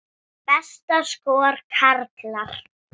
Besta skor, karlar